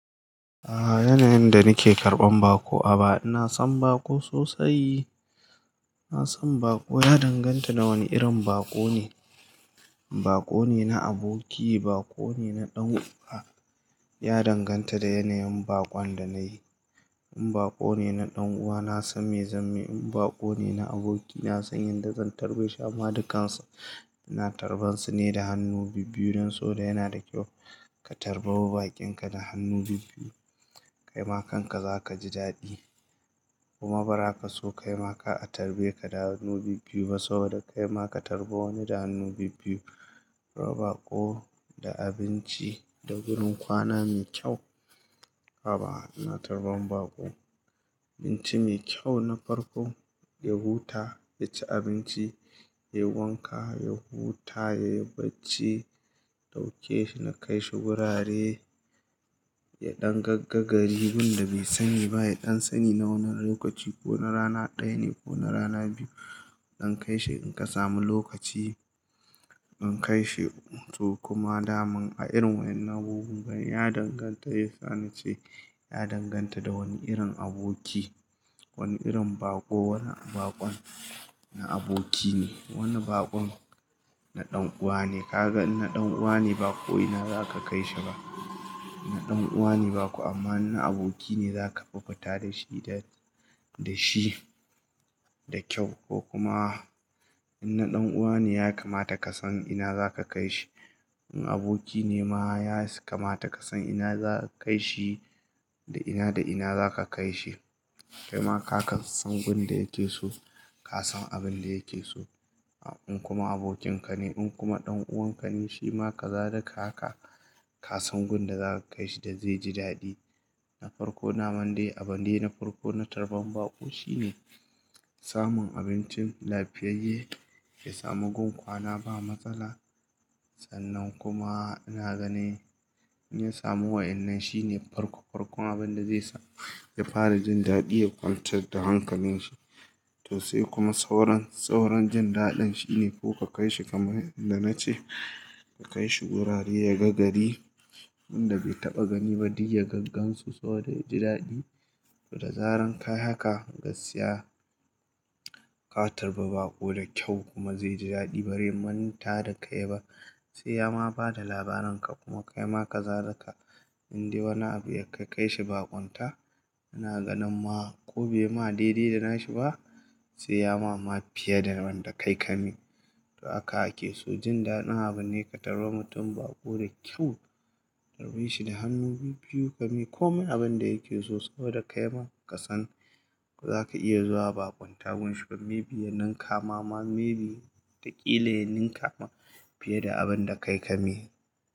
Aa, yanayin da nake karɓan bako a baya ina son bako sosai. Ina son bako, ya danganta da wane irin bako ne. Bako ne na aboki, bako ne na ɗan'uwa, ya danganta da yanayin bakon da nayi. In bako ne na ɗan'uwa na san me zamai, in bako ne na aboki na san yadda zan tarbe shi madikansa. Ina tarbansu ne da hannu bibbiyu don sobo da yana da kyau ka tarbawa baƙinka da hannu bibbiyu, kaima kanka zaka ji daɗi. Kuma bara ka so kaima ka a tarbe ka da hannu bibbiyu ba saboda kaima ka tarba wani da hannu bibbiyu. Raba bako da abinci da wurin kwana mai kyau. Haba ina tarban bako, abinci mai kyau na farko, ya huta, ya ci abinci, ya wanka, ya huta, ya yi bacci, inɗauke shi na kai shi wurare, ya ɗan gagga gari. Gunda bai sani ba, ya ɗan sani na wani lokaci ko na rana ɗaya ne ko na rana biyu. Inkai shi in ka samu lokaci, in kai shi. To kuma daman a irin wayen na abubuwan ya danganta, ya sa ni ce ya danganta da wane irin aboki, wane irin bako, wane bakon na aboki ne, wane bakon na ɗan'uwa ne. Ka ga in na ɗan'uwa ne bakoyi ina za ka kai shi ba. Na ɗan'uwa ne bako amma na aboki ne za ka bukuta da shi da, da shi da kyau ko kuma in na ɗan'uwa ne ya kamata ka san ina za ka kai shi. In aboki ne ma ya kamata ka san ina za ka kai shi da ina da ina za ka kai shi. Kaima ka san gunda yake so, ka san abin da yake so. In kuma abokinka ne in kuma ɗan'uwan ka ne, shima ka zalika haka ka san gun da za ka kai shi da zai ji daɗi. Na farko na mande abune na farko na tarban bako shine samun abincin lafiyayye, ya samu gun kwana ba matsala. Sannan kuma ina gani in ya samu wa'innen shine farko farkon abin da zai sa ya fara jin daɗi ya kwanta da hankalin shi. To sai kuma sauran, sauran jin daɗin shine ko ka kai shi kamar yadda na ce, ka kai shi wurare ya ga gari. Inda bai taɓa gani ba, duk ya gaggansu saboda ya ji daɗi. Da zarar ka yi haka, gaskiya ka tarba bako da kyau kuma zai ji daɗi bari manta da kai ba. Sai ya ma ba da labarin ka kuma kaima ka zadaka inda wani abu ya kai kai shi ba kwanta. Ina ganin ma ko bai ma daidaida shi ba sai ya mama fiye da wanda kai ka mai to haka ake so, jin daɗin abune ka tarwa mutum bako da kyau, tarbi shi da hannu bibbiyu ka mi komai abin da yake so saboda kaima ka san zaka iya zuwa ba kwanta gun shi ba maybe yanin kama ma maybe da ƙila yanin kama fiye da abin da kai ka mai.